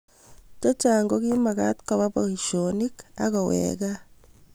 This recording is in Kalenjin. che chang' ko kimekat koba boisionik aku weeka.